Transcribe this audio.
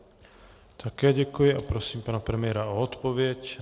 Také děkuji a prosím pana premiéra o odpověď.